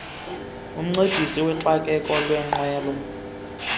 umncedisi woxakeko wengqwelo